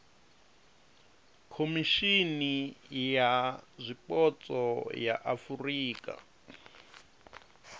khomishimi ya zwipotso ya afurika